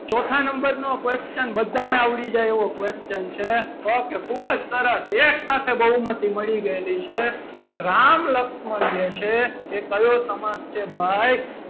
ચોથા number નો question બધાને આવડી જાય એવો question છે okay ખૂબ જ સરસ એક સાથે બહુમતી મળી ગયેલી છે. કે રામ લક્ષ્મણ જે છે એ કયો સમાસ છે. ભાઈ,